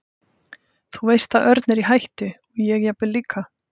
Þú veist að Örn er í hættu og ég jafnvel líka.